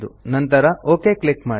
ನಂತರ okay click ಮಾಡಿ